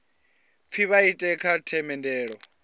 pfi vha ite kha themendelo